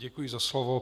Děkuji za slovo.